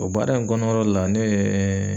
O baara in kɔnɔrɔ la nee